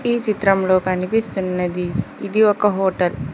ఈ చిత్రంలో కనిపిస్తున్నది ఇది ఒక హోటల్ .